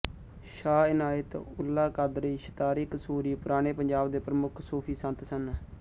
ਸ਼ਾਹ ਇਨਾਇਤ ਉਲ੍ਹਾ ਕਾਦਰੀ ਸ਼ਤਾਰੀ ਕਸੂਰੀ ਪੁਰਾਣੇ ਪੰਜਾਬ ਦੇ ਪ੍ਰਮੁੱਖ ਸੂਫ਼ੀ ਸੰਤ ਸਨ